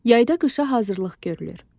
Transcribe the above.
Yayda qışa hazırlıq görülür.